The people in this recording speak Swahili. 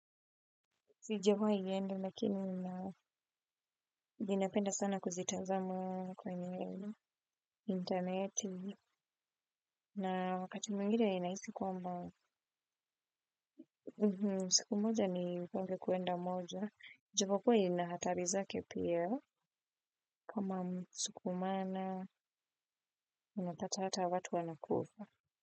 Sijawaiende lakini ninapenda sana kuzitazama kwenye interneti na wakati mwingine ninahisi kwamba siku moja nipange kuenda moja. Japokuwa ina hatari zake pia kama kusukumana unapata hata watu wanakufa.